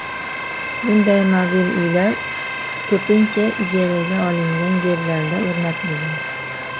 Bunday mobil uylar ko‘pincha ijaraga olingan yerlarda o‘rnatilgan.